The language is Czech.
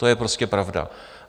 To je prostě pravda.